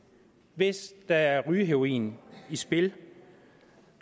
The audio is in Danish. hvis der er rygeheroin i spil